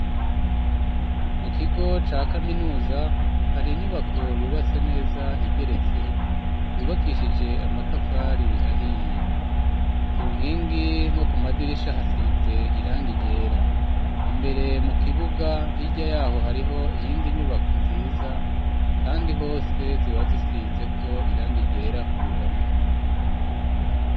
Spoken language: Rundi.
Mu kigo ca kaminuza hari inyubako yubatse neza igeretse yubakishije amatafari ahiye ku nkingi no ku madirisha hasize irangi ryera imbere mu kibuga hirya yaho hariho iyindi nyubako nziza kandi hose ziba zisizeko irangi ryera ku ruhome.